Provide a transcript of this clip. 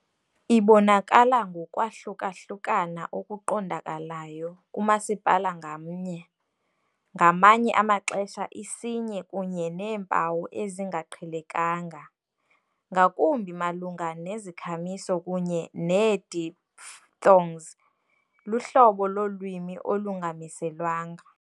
Ibonakala ngokwahlukahlukana okuqondakalayo kumasipala ngamnye, ngamanye amaxesha isinye kunye neempawu ezingaqhelekanga, ngakumbi malunga nezikhamiso kunye ne-diphthongs, luhlobo lolwimi olungamiselwanga.